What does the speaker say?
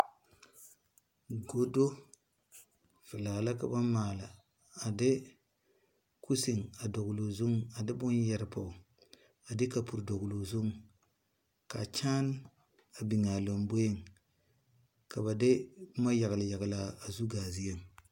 Gɔdo vilaa la ka ba maale a de kusin a doɔloo zun a de bun yere poɔ a de kapuri dɔgli ɔ zun kaa kyaan a bing a lɔmbori ka ba de buma yagle yagle ana zu gaa zee.